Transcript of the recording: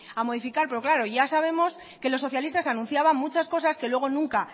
a modificar pero claro ya sabemos que los socialistas anunciaban muchas cosas que luego nunca